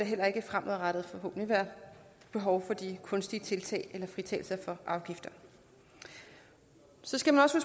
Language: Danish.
heller ikke fremadrettet være behov for de kunstige tiltag eller fritagelse for afgifter så skal man også